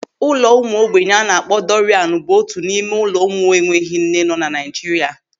Ụlọ ụmụ ogbenye a na-akpọ Dọrianu bụ otu n'ime ụlọ ụmụ enweghị nne nọ na Naijiria.